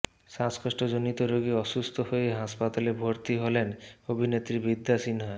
শ্বাসকষ্ট জনিত রোগে অসুস্থ হয়ে হাসপাতালে ভর্তি হলেন অভিনেত্রী বিদ্যা সিনহা